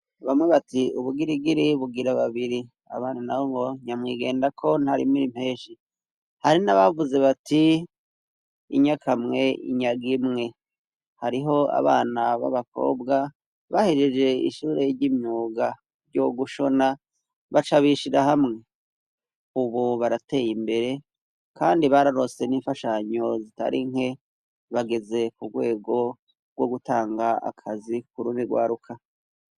Bamwe bati ubugirigiri bugira babiri abantu na ho ngo nyamwigenda ko ntarimiri impeshi hari n'abavuze bati inyakamwe inyaga imwe hariho abana b'abakobwa bahejeje ishure ry'imyuga ryo gushona baca bishira hamwe ubu barateye imbere kandi bararose n'imfashanyo zitari nke bageze ku rwego rwo gutanga akazi kurumi rwaruka.